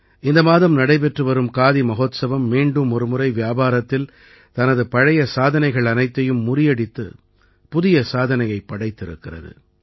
இந்த மாதம் நடைபெற்று வரும் காதி மஹோத்சவம் மீண்டும் ஒருமுறை வியாபாரத்தில் தனது பழைய சாதனைகள் அனைத்தையும் முறியடித்து புதிய சாதனையைப் படைத்திருக்கிறது